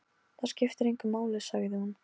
Það skiptir engu máli, sagði hún.